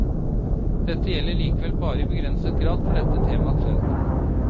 Dette gjelder likevel bare i begrenset grad for dette temaets vedkommende.